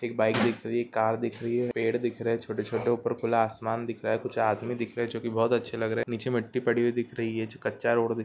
एक बाइक दिखरही है कार दिखरही है पेड़ दिख रहे छोटे छोटे ऊपर खुल्ला आसमान दिख रहा है कुछ आदमी दिख रहे जो की बहुत अच्छे लग रहे है नीचे मट्टी पड़ी हुई दिख रही है जो कच्चा रोड भी --